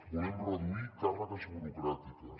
volem reduir càrregues burocràtiques